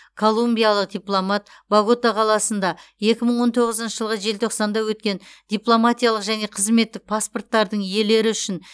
колумбиялық дипломат богота қаласында екі мың он тоғызыншы жылғы желтоқсанда өткен дипломатиялық және қызметтік паспорттардың иелері үшін